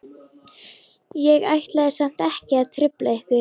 Ég ætlaði samt ekki að trufla ykkur.